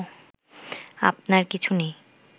আপনার কিছু নেই